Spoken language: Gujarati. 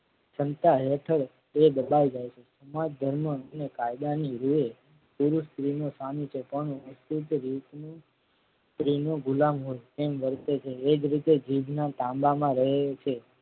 શંકા હેઠળ એ દબાય જાય છે સમાજ ધર્મ અને કાયદાની રુહે તેઓ સ્ત્રીનો સામી છે પણ અંકુશ રીતનું સ્ત્રી નો ગુલામ હોય તેમ વર્તે છે. એ જ રીતે જીભના તાંબામાં રહે છે.